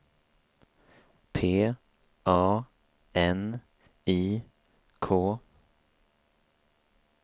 P A N I K